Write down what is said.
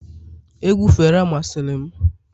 egwu fela masịrị m